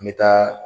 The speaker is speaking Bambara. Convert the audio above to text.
An bɛ taa